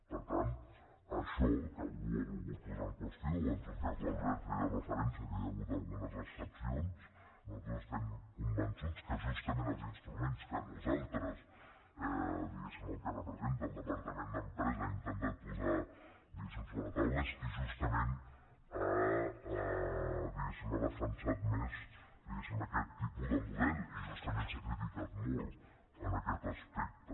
per tant això que algú ho ha volgut posar en qüestió o en tot cas l’albert hi feia referència que hi ha hagut algunes excepcions nosaltres estem convençuts que justament els instruments que nosaltres diguéssim el que representa el departament d’empresa ha intentat posar sobre la taula és que justament ha defensat més aquest tipus de model i justament s’ha criticat molt en aquest aspecte